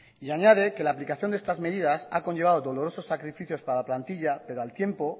y añade que la aplicación de estas medidas ha conllevado dolorosos sacrificios para la plantilla pero al tiempo